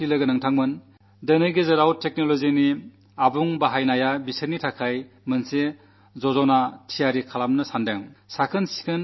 വിശേഷിച്ചും അടുത്ത കാലത്ത് സാങ്കേതികവിദ്യ വലിയ രീതിയിൽ ഉപയോഗിക്കുന്ന യുവസുഹൃത്തുക്കൾക്കു മുന്നിൽ ഞാനൊരു പദ്ധതി അവതരിപ്പിക്കാനുദ്ദേശിക്കുന്നു